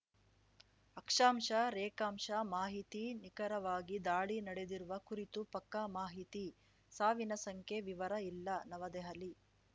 ಅಕ್ಷಾಂಶರೇಖಾಂಶ ಮಾಹಿತಿ ನಿಖರವಾಗಿ ದಾಳಿ ನಡೆದಿರುವ ಕುರಿತು ಪಕ್ಕಾ ಮಾಹಿತಿ ಸಾವಿನ ಸಂಖ್ಯೆ ವಿವರ ಇಲ್ಲ ನವದೆಹಲಿ